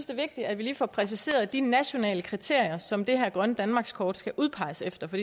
det vigtigt at vi lige får præciseret de nationale kriterier som det her grønne danmarkskort skal udpeges efter for